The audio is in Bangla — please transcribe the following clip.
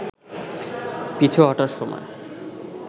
পিছু হটার সময়